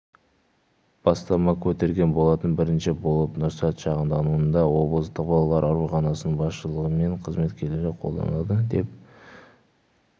бастама көтерген болатын бірінші болып нұрсәт шағынауданындағы облыстық балалар ауруханасының басшылығы мен қызметкерлері қолдады деп